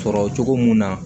Sɔrɔ cogo mun na